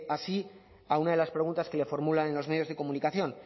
así a una de las preguntas que le formulan en los medios de comunicación